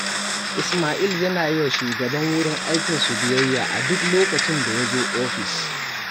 Ismail yana yi wa shugaban wurin aikinsu biyayya a duk lokacin da ya zo ofis